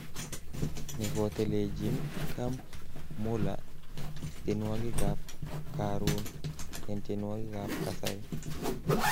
Nekotelejin Camp Mulla tienwokik ab Karun eng tienwokik ab kasari.